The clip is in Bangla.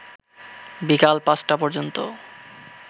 বিকেল ৫টা পর্যন্ত